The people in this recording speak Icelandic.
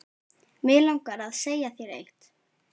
Mig langar að segja þér eitt.